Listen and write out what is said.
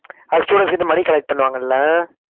அது students கிட்ட money collect பண்ணுவாங்கல்ல?